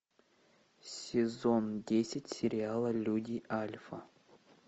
сезон десять сериала люди альфа